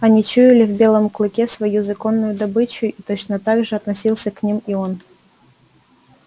они чуяли в белом клыке свою законную добычу и точно так же относился к ним и он